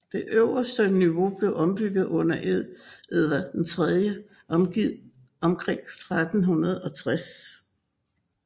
Det øverste niveau blev ombygget under Edvard III omkring 1360